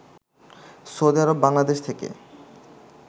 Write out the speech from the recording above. Saudi Arab Bangladesh থেকে